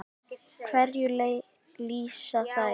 Hverju lýsa þær?